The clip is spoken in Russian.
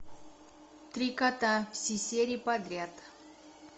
три кота все серии подряд